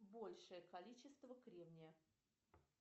большее количество кремния